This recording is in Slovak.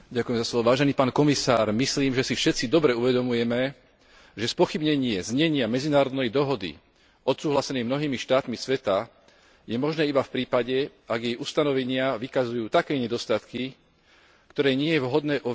Myslím, že si všetci dobre uvedomujeme, že spochybnenie znenia medzinárodnej dohody odsúhlasenej mnohými štátmi sveta je možné iba v prípade, ak jej ustanovenia vykazujú také nedostatky, ktoré nie je vhodné uviesť do života.